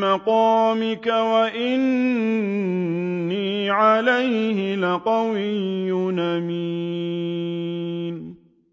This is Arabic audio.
مَّقَامِكَ ۖ وَإِنِّي عَلَيْهِ لَقَوِيٌّ أَمِينٌ